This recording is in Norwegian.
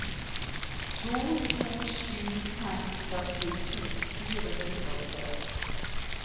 to to sju fem førtito fire hundre og tre